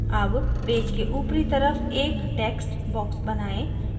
अब पेज के ऊपरी तरफ एक text box बनाएं